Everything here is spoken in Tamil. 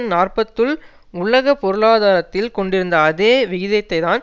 நாற்பதுல் உலக பொருளாதாரத்தில் கொண்டிருந்த அதே விகிதத்தைத்தான்